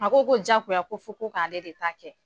A ko ko jagoya ko fɔ ko k' ale de ta kɛ.